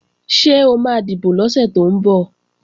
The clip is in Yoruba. Ṣé o máa dìbò lọ́sẹ̀ tó ń bọ̀?